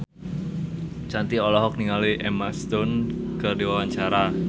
Shanti olohok ningali Emma Stone keur diwawancara